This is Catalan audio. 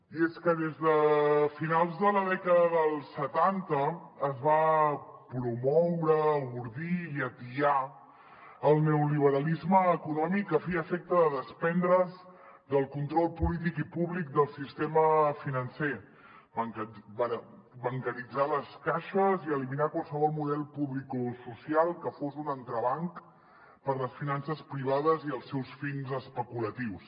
i és que des de finals de la dècada dels setanta es va promoure ordir i atiar el neoliberalisme econòmic a fi i efecte de desprendre’s del control polític i públic del sistema financer bancaritzar les caixes i eliminar qualsevol model públic o social que fos un entrebanc per les finances privades i els seus fins especulatius